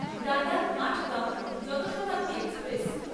দাদার Madgaon Janshatabdi express